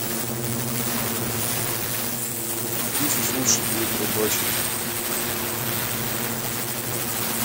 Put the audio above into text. где здесь лучше будет рыбачить